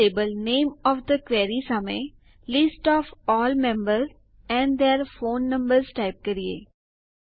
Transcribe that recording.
ચાલો લેબલ નામે of the query સામે list of all members and their phone numbers type કરીએ